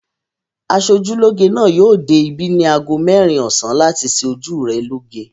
Aṣojúlóge náà yóò dé ibí ní ago mẹ́rin ọ̀sán láti ṣe ojú rẹ lóge.